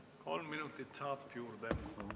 Kolm minutit saab juurde.